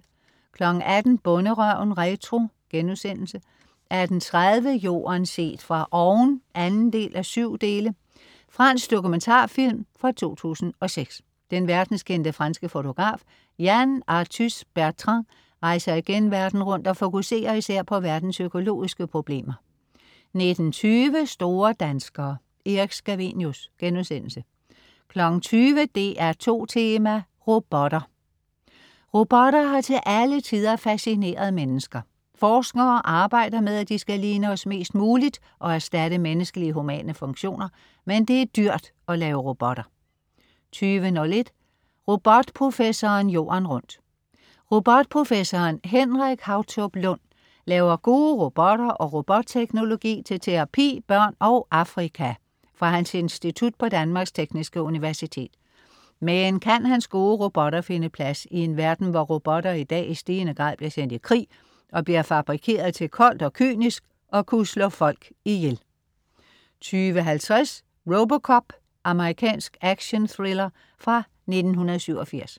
18.00 Bonderøven retro* 18.30 Jorden set fra oven 2:7. Fransk dokumentarfilm fra 2006. Den verdenskendte, franske fotograf Yann Arthus-Bertrand rejser igen verden rundt og fokuserer især på verdens økologiske problemer 19.20 Store danskere. Erik Scavenius* 20.00 DR2 Tema: Robotter. Robotter har til alle tider fascineret mennesker. Forskere arbejder med, at de skal ligne os mest muligt, og erstatte menneskelige humane funktioner. Men det er dyrt at lave robotter 20.01 Robotprofessoren jorden rundt. Robotprofessoren Henrik Hautop Lund laver gode robotter og robotteknologi til terapi, børn og Afrika fra hans Institut på Danmarks Tekniske Universitet. Men kan hans gode robotter finde plads i en verden, hvor robotter i dag i stigende grad bliver sendt i krig og bliver fabrikeret til koldt og kynisk at kunne slå folk ihjel? 20.50 RoboCop. Amerikansk actionthrillerfra 1987